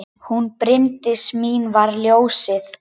Hún Bryndís mín var ljósið.